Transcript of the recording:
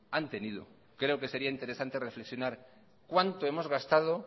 han tenido creo que sería interesante reflexionar cuánto hemos gastado